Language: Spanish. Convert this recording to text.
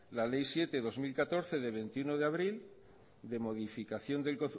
la ley siete barra dos mil catorce de veintiuno de abril de modificación del